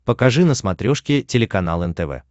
покажи на смотрешке телеканал нтв